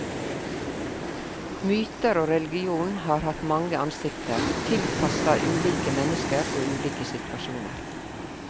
Myter og religion har hatt mange ansikter, tilpassa ulike mennesker og ulike situasjoner.